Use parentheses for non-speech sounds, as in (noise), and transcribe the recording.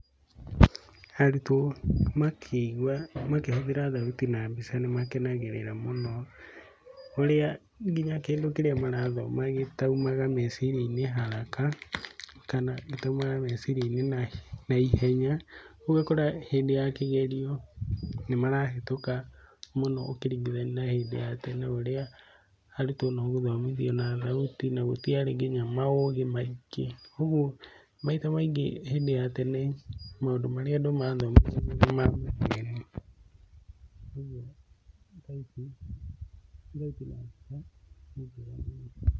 Arutwo makĩhũthĩra thauti na mbica nĩ makenagĩrĩra mũno, ũrĩa nginya kĩndũ kĩrĩa marathoma gĩtaumaga meciria-inĩ haraka, kana gĩtaumaga meciria-inĩ na ihenya. Ũguo ũgakora hĩndĩ ya kĩgerio nĩ marahĩtũka mũno ũkĩringithania na hĩndĩ ya tene ũrĩa arutwo no gũthomithio na thauti na gũtiarĩ nginya maũgĩ maingĩ. Ũguo maita maingĩ hĩndĩ ya tene maũndũ marĩa andũ mathomithagio nĩ ma, (inaudible) ũguo thauti, thauti na mbica nĩ njega mũno.